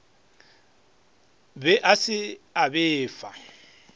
be a se a befa